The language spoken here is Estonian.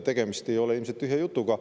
Tegemist ei ole ilmselt tühja jutuga.